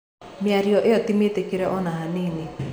Mĩario ĩo tĩ mĩtĩkĩre ona hanini.